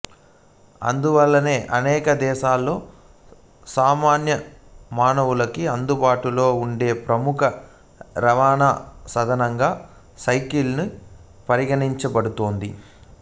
అందువల్లనే అనేక దేశాల్లో సామాన్య మానవునికి అందుబాటులో ఉండే ప్రముఖ రవాణా సాధనంగా సైకిలు పరిగణించబడుతోంది